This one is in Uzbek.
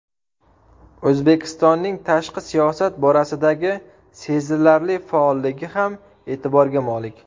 O‘zbekistonning tashqi siyosat borasidagi sezilarli faolligi ham e’tiborga molik.